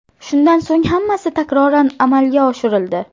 Shundan so‘ng hammasi takroran amalga oshirildi.